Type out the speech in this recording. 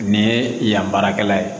Nin ye yan baarakɛla ye